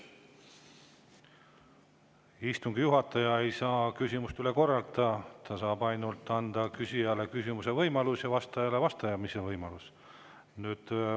Istungi juhataja ei saa küsimust üle korrata, ta saab ainult anda küsijale küsimuse võimaluse ja vastajale vastamise võimaluse.